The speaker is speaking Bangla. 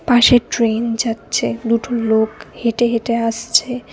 পাশে ট্রেন যাচ্ছে দুটো লোক হেঁটে হেঁটে আসছে।